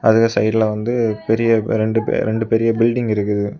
அதுக்கு சைட்ல வந்து பெரிய ரெண்டு பெரி ரெண்டு பெரிய பில்டிங் இருக்குது.